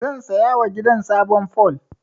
Zan sayawa gidan sabon fol.